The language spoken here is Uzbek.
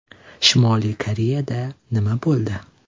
Shimoliy Koreyada nima bo‘ldi?